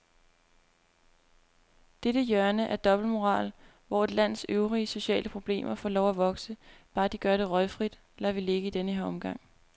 Dette hjørne af dobbeltmoral, hvor et lands øvrige sociale problemer får lov at vokse, bare de gør det røgfrit, lader vi ligge i denne omgang.